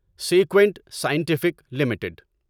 sequent Scientific limited